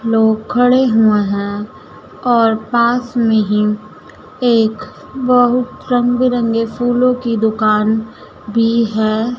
लोग खड़े हुए हैं और पास में ही एक बहुत रंग बिरंगे फूलों की दुकान भी है।